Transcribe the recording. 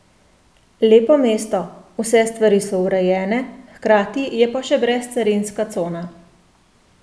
Lepo mesto, vse stvari so urejene, hkrati je pa še brezcarinska cona.